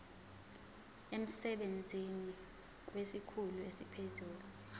emsebenzini kwesikhulu esiphezulu